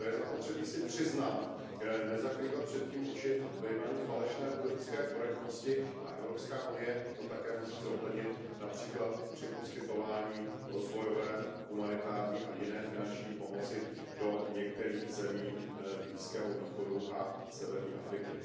To je zapotřebí si přiznat, nezavírat před tím oči ve jménu falešné politické korektnosti a Evropská unie to také musí zohlednit například při poskytování rozvojové a humanitární a jiné finanční pomoci do některých zemí Blízkého východu a severní Afriky.